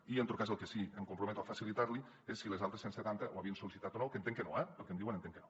i en tot cas el que sí que em comprometo a facilitar li és si les altres cent setanta ho havien sol·licitat o no que entenc que no eh pel que em diuen entenc que no